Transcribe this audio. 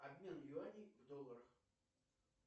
обмен юаней в долларах